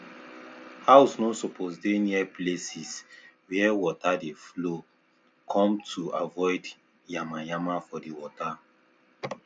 house no suppose dey near places where water dey follow cometo avoid yama yama for the water